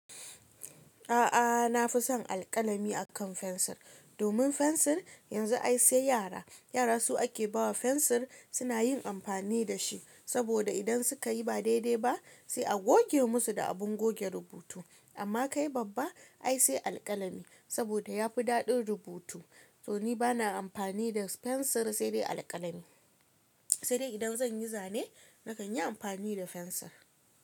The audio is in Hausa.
A'a na fi son alƙalami akan fensir, domin fensir yanzu ai sai yara. Yara su ake ba wa fensir suna yin amfani da shi, saboda idan suka yi ba daidai ba sai a goge musu da abin goge rubutu. Amma kai babba ai sai alƙalami saboda ya fi daɗin rubutu. To ni bana amfani da fensir sai dai alƙalami. Sai dai idan zan yi zane na kan yi amfani da fensir.